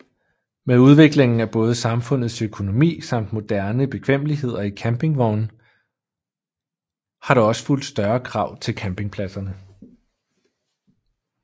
Med udviklingen af både samfundets økonomi samt moderne bekvemmeligheder i campingvogne har der også fulgt større krav til campingpladserne